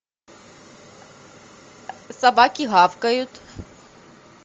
собаки гавкают